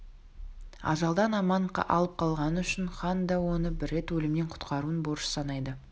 ажалдан аман алып қалғаны үшін хан да оны бір рет өлімнен құтқаруын борыш санайды